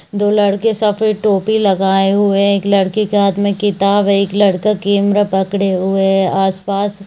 दो लड़के सफ़ेद टोपी लगाए हुए है एक लड़के के हाथ में किताब है एक लड़का कैमरा पकडे हुए है आस-पास--